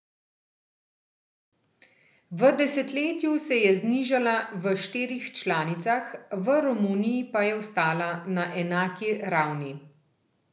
V desetletju se je znižala v štirih članicah, v Romuniji pa je ostala na enaki ravni.